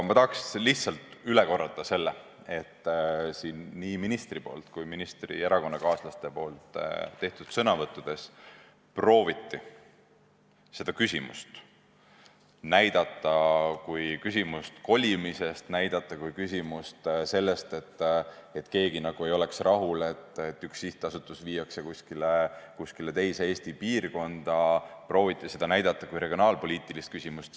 Ma tahaks lihtsalt üle korrata, et nii ministri kui ka tema erakonnakaaslaste sõnavõttudes prooviti seda küsimust näidata kui küsimust kolimisest – kui küsimust sellest, et keegi nagu ei oleks rahul, et üks sihtasutus viiakse kuskile teise Eesti piirkonda –, seda prooviti näidata kui regionaalpoliitilist küsimust.